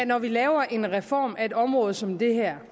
når vi laver en reform af et område som det her